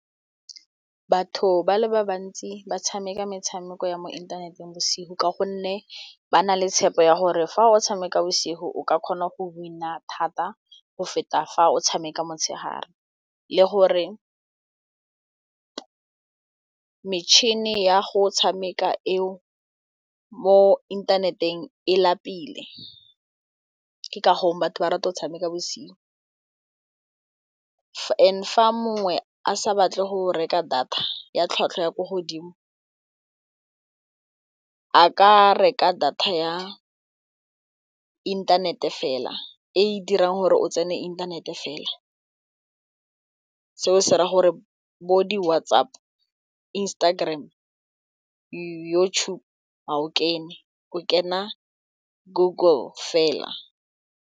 Batho ba le ba bantsi ba tshameka metshameko ya mo inthaneteng bosigo ka gonne ba na le tshepo ya gore fa o tshameka bosigo o ka kgona go win-a thata go feta fa o tshameka motshegare le gore metšhine ya go tshameka eo mo inthaneteng e lapile ke ka go batho ba rata go tshameka bosigo and fa mongwe a sa batle go reka data ya tlhwatlhwa ya ko godimo a ka reka data ya inthanete fela e dirang gore o tsene inthanete fela seo se ra gore bo di WhatsApp, Instagram YouTube gao kene o kena Google fela.